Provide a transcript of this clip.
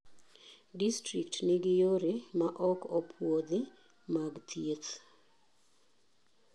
Distrikt nigi yore ma ok opuodhi mag thieht,.